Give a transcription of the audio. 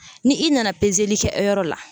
Ni i nana kɛ yɔrɔ la